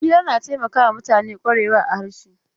Hira na taimakawa mutane kwarewa a harshe.